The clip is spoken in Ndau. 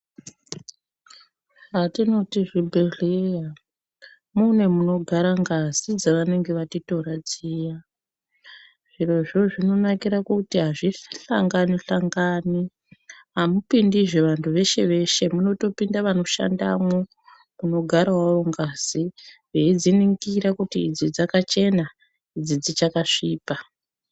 Zvatinoti zvibhedhleya mune munogara ngazi dzevanenge vatitora dziya zvirozvo zvinonakira kuti hazvihlangani -hlangani. Hamupondizve vantu veshe-veshe munotopinda vanoshandamwo kunogaravo ngazi veidziningira kuti idzi dzakachena, idzi dzichakasvipa.